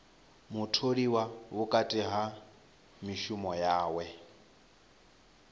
mutholiwa vhukati ha mishumo yawe